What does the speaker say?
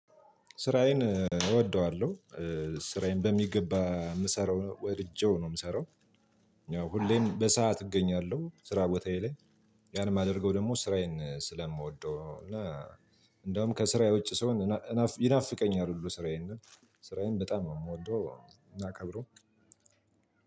ስራዬን እወደዋለሁ። ስራዬን በሚገባ የምሰራው ወድጄው ነው የምሰራው። ያው ሁሌም በሰአት እገኛለሁ ስራ ቦታዬ ላይ። ያን የማደርገው ደግሞ ስራዬን ስለምወደው እና እንደውም ከስራዬ ውጭ ሰው ይናፍቀኛል ሁሉ ስራዬን። ስራዬን በጣም ነው የምወደው። እና